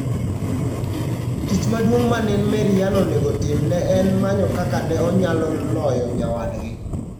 Tich maduong' ma ne Maryann onego otim ne en manyo kaka ne onyalo loyo nyawadgi.